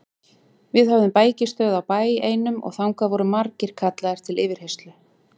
Við höfðum bækistöð á bæ einum og þangað voru margir kallaðir til yfirheyrslu.